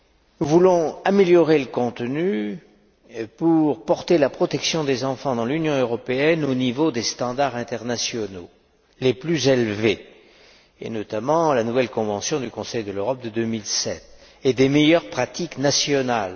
Nous voulons en améliorer le contenu pour porter la protection des enfants dans l'Union européenne au niveau des normes internationales les plus élevées, notamment la nouvelle convention du Conseil de l'Europe de 2007, et des meilleures pratiques nationales.